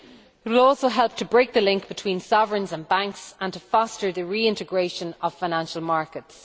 It will also help to break the link between sovereigns and banks and to foster the reintegration of financial markets.